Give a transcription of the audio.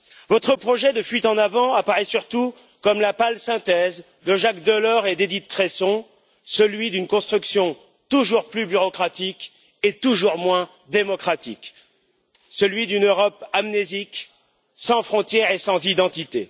Votre projet de fuite en avant apparaît surtout comme la pâle synthèse de Jacques Delors et d'Édith Cresson, celui d'une construction toujours plus bureaucratique et toujours moins démocratique, celui d'une Europe amnésique, sans frontières et sans identité.